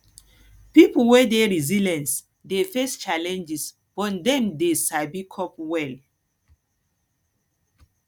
pipo wey dey resilient dey face challenges but dem dey sabi cope well